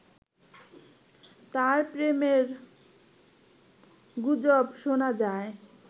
তার প্রেমের গুজব শোনা যায়